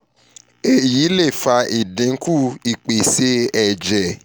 eyi le fa idinku ipese ẹjẹ si ọpọlọ ati ipalara hypoxic